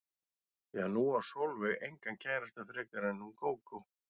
Því að nú á Sólveig engan kærasta frekar en hún Gógó.